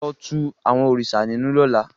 Lo tú àwọn òrìṣà ninu lọ́la!